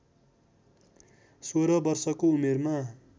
सोह्र वर्षको उमेरमा